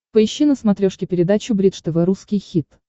поищи на смотрешке передачу бридж тв русский хит